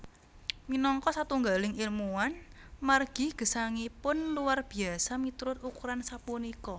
Minangka satunggaling ilmuwan margi gesangipun luar biasa miturut ukuran sapunika